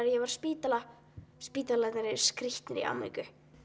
að ég var á spítala spítalarnir eru skrýtnir í Ameríku